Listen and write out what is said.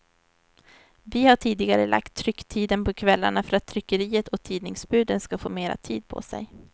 Vi har tidigarelagt trycktiden på kvällarna för att tryckeriet och tidningsbuden ska få mer tid på sig.